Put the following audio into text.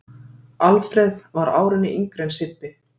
Alfreð sem var árinu yngri en Sibbi.